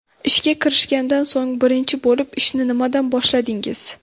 Ishga kirishgandan so‘ng bilinchi bo‘lib ishni nimadan boshladingiz?